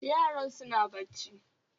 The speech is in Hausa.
Yaran suna bacci